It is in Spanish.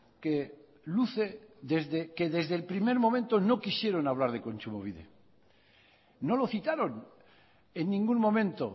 que desde el primer momento no quisieron hablar de kontsumobide no lo citaron en ningún momento